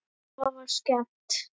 Afa var skemmt.